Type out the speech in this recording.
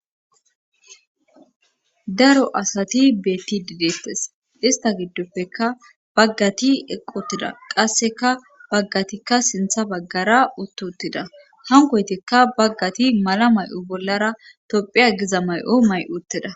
daro asati beetti didettes ista giddoppeka baggati eqotida qasseka baggatikka sintha baggara uttotida hankoytikka baggati mala may7o bollara tophia giza may7o may7uttida